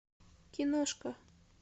киношка